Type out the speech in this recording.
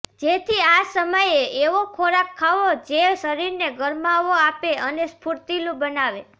જેથી આ સમયે એવો ખોરાક ખાવો જે શરીરને ગરમાવો આપે અને સ્ફૂર્તિલું બનાવે